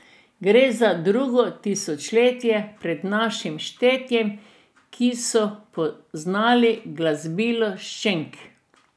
Gre za drugo tisočletje pred našim štetjem, kjer so poznali glasbilo šeng.